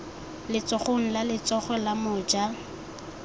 letsogong la letsogo la moja